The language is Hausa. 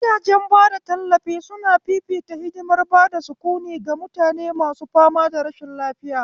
Gidajen bada tallafi suna fifita hadimar bada sukuni ga mutane masu fama da rashin lafiya